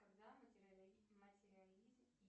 когда материализм и